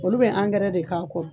Olu bɛ de k'a kɔ